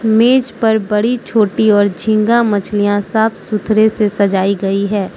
मेज पर बड़ी छोटी और झींगा मछलियां साफ सुथरे से सजाई गई हैं।